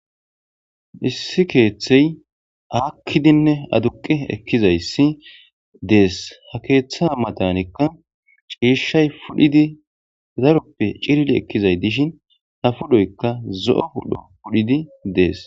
Issi keththey akidinne aduqi ekizayisi dees he keththa matanikka chishayi pudhid daroppe ekizayis dishin ha pudhoyikka zoo pudho pudhidi dees